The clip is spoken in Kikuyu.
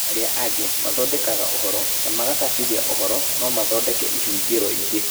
Arĩa angĩ mathondekaga ũhoro na makacabithia ũhoro no mathondeke ĩhũngĩro ingĩ